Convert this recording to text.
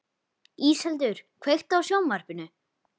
Íseldur, kveiktu á sjónvarpinu.